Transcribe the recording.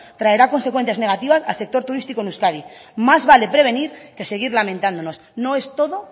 traerá consecuencias negativas al sector turístico en euskadi más vale prevenir que seguir lamentándonos no es todo